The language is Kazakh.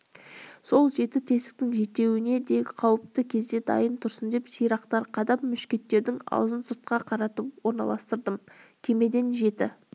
сол жеті тесіктің жетеуіне де қауіпті кезде дайын тұрсын деп сирақтар қадап мушкеттердің аузын сыртқа қаратып орналастырдым кемеден жеті